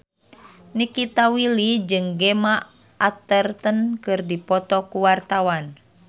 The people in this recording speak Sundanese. Nikita Willy jeung Gemma Arterton keur dipoto ku wartawan